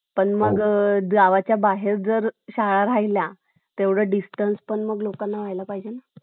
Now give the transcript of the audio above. कधी पाऊस उघडल्याने तर कधी अवेळी आलेल्या पावसाने दुष्काळी परिस्थितीमुळे खरिपाचे उत्पादन कमी झाले. मात्र परतीच्या पावसाने विहिरीला